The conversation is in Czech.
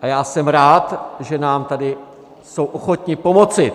A já jsem rád, že nám tady jsou ochotni pomoci.